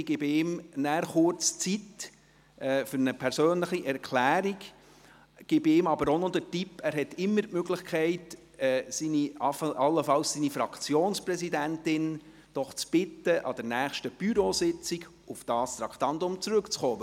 Ich gebe ihm kurz etwas Zeit für eine persönliche Erklärung, aber auch den Tipp, dass er immer die Möglichkeit hat, seine Fraktionspräsidentin darum zu bitten, anlässlich der nächsten Bürositzung auf dieses Traktandum zurückzukommen.